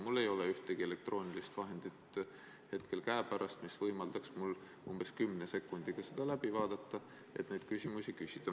Mul ei ole ühtegi elektroonilist vahendit hetkel käepärast, mis võimaldaks mul umbes kümne sekundiga seda läbi vaadata, et neid küsimusi küsida.